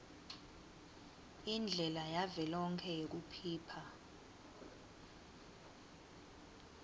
indlela yavelonkhe yekuphipha